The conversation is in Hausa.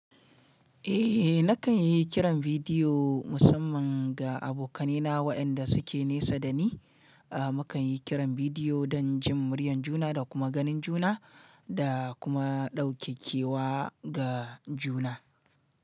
Eh nakan yi kiran bidiyo musamman ga abokanai na waɗanda suke nesa dani. A mukan yi kiran bidiyo don jin muryar juna da kuma ganin juna, da kuma ɗauke kewa ga juna.